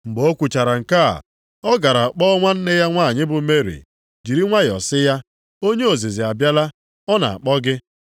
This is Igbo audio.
Mgbe o kwuchara nke a, ọ gara kpọọ nwanne ya nwanyị bụ Meri, jiri nwayọọ sị ya, “Onye ozizi abịala, ọ na-akpọ gị.”